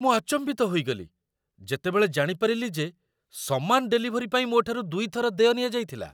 ମୁଁ ଆଚମ୍ବିତ ହୋଇଗଲି, ଯେତେବେଳେ ଜାଣିପାରିଲି ଯେ ସମାନ ଡେଲିଭରୀ ପାଇଁ ମୋ'ଠାରୁ ଦୁଇଥର ଦେୟ ନିଆଯାଇଥିଲା!